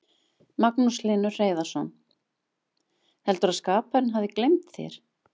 Magnús Hlynur Hreiðarsson: Heldurðu að skaparinn hafi gleymt þér?